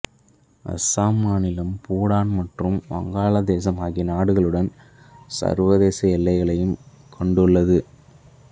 அசாம் மாநிலம் பூட்டான் மற்றும் வங்காள தேசம் ஆகிய நாடுகளுடன் சர்வதேச எல்லைகளையும் கொண்டுள்ளது